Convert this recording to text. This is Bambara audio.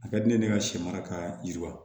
A ka di ne ye ne ka sɛmara kaa yiriwa